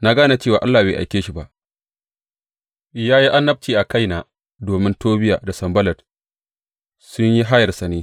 Na gane cewa Allah bai aike shi ba, ya yi annabci a kaina domin Tobiya da Sanballat sun yi hayarsa ne.